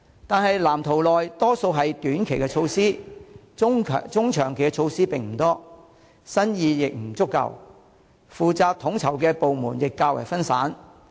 可是，藍圖大多數為短期措施，中、長期措施不多，新意亦不足夠，負責統籌的部門亦較分散。